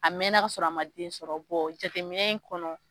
A mɛnna ka sɔrɔ a man den sɔrɔ jateminɛn in kɔnɔ